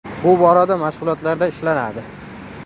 Bu borada mashg‘ulotlarda ishlanadi.